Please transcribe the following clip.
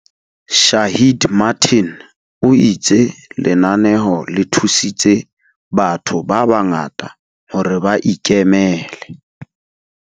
Shaheed Martin, o itse lenaneo le thusitse batho ba bangata hore ba ikemele.